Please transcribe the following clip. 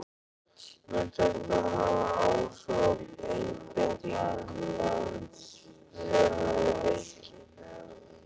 Mun þetta hafa áhrif á einbeitingu þeirra á leikinn?